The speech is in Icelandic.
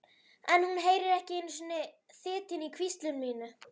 En hún heyrir ekki einu sinni þytinn í hvísli mínu.